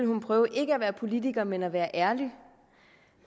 hun prøve ikke at være politiker men at være ærlig